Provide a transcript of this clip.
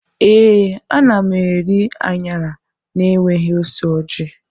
Ee, ana m eri anyara na-enweghị ose orji.